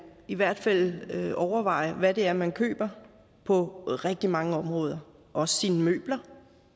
i hvert fald overveje hvad det er man køber på rigtig mange områder også sine møbler